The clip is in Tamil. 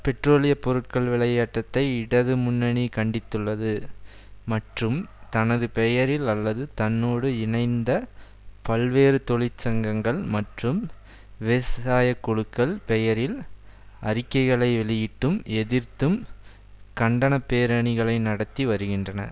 பெட்ரோலிய பொருட்கள் விலை ஏற்றத்தை இடதுமுன்னணி கண்டித்துள்ளது மற்றும் தனது பெயரில் அல்லது தன்னோடு இணைந்த பல்வேறு தொழிற்சங்கங்கள் மற்றும் விவசாயக்குழுக்கள் பெயரில் அறிக்கைகளை வெளியிட்டும் எதிர்த்தும் கண்டனப்பேரணிகளை நடத்தி வருகின்றன